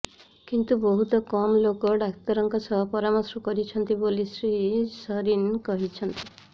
କିନ୍ତୁ ବହୁତ କମ୍ ଲୋକ ଡାକ୍ତରଙ୍କ ସହ ପରାମର୍ଶ କରୁଛନ୍ତି ବୋଲି ଶ୍ରୀ ସରିନ୍ କହିଛନ୍ତି